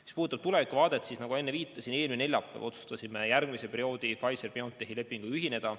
Mis puudutab tulevikku, siis nagu ma enne viitasin, eelmine neljapäev me otsustasime järgmise perioodi Pfizer/BioNTechi lepinguga ühineda.